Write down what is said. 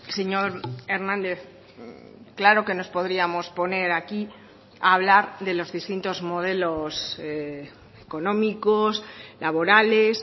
señor hernández claro que nos podríamos poner aquí a hablar de los distintos modelos económicos laborales